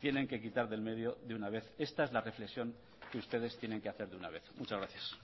tienen que quitar del medio de una vez esta es la reflexión que ustedes tienen que hacer de una vez muchas gracias